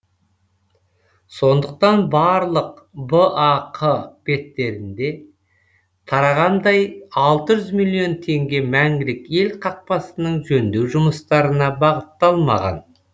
сондықтан барлық бақ беттерінде тарағандай алты жүз миллион теңге мәңгілік ел қақпасының жөндеу жұмыстарына бағытталмаған